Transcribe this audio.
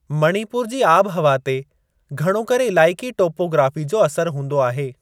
मणिपुर जी आबिहवा ते घणो करे इलाइक़ी टोपोग्राफ़ी जो असर हूंदो आहे।